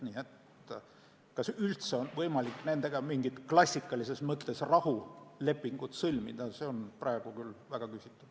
Kas nendega on üldse võimalik mingit klassikalises mõttes rahulepingut sõlmida, see on praegu küll väga küsitav.